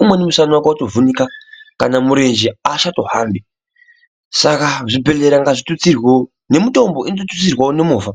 umweni musana wake watovhunika kana murenje haachatohambi. Saka zvibhedhlera ngazvitutsirwe, nemitombo inoda kututsirwewo nemhovha.